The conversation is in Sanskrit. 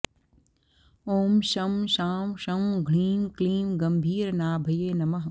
ॐ शं शां षं ह्रीं क्लीं गम्भीरनाभये नमः